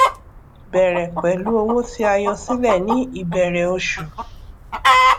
bẹrẹ pẹlú owó tí a yọ sílẹ ní ìbẹrẹ oṣù